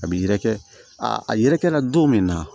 A bi yɛrɛkɛ aa a yɛrɛkɛra don min na